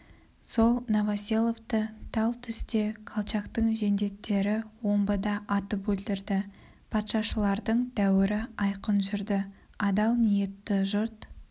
сол новоселовты тал түсте колчактың жендеттері омбыда атып өлтірді патшашылдардың дәуірі айқын жүрді адал ниетті жұрт